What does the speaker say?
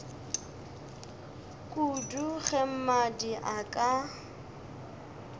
kudu ge mmadi a ka